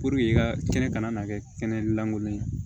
Puruke i ka kɛnɛ kana na kɛ kɛnɛlankolon ye